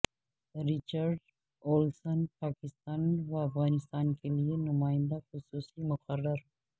Richard Olson Pakistan و افغانستان کے لیے نمائندہ خصوصی مقرر